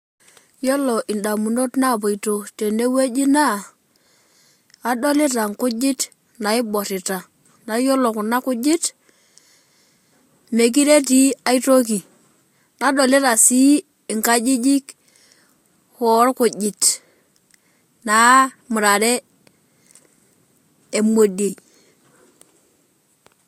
Yiolo ndamunot naapoito tene wueji naa adolita nkujit naiborrita, naa iyiolo kuna kujit mekire etii aitoki. Nadolita sii nkajijik oorkujit naamurare emodiei.